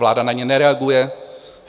Vláda na ně nereaguje.